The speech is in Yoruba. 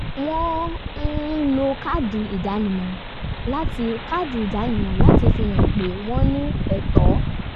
wọ́n um lo káàdì ìdánimọ̀ láti káàdì ìdánimọ̀ láti fi hàn pé wọ́n ní ẹ̀tọ́